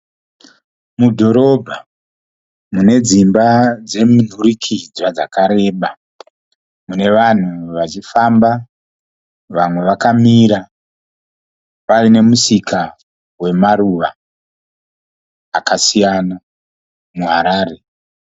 Mudhorobha, mune dzimba dzemunhurikidzwa dzakareba. Mune vanhu vachifamba, vanhu vakamira, paine musika wemaruva akasiyana, muHarare